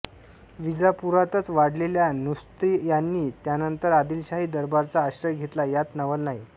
विजापूरातच वाढलेल्या नुस्रती यांनी त्यानंतर आदिलशाही दरबाराचा आश्रय घेतला यात नवल नाही